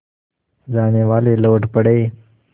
जानेवाले लौट पड़े